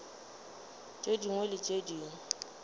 tše dingwe le tše dingwe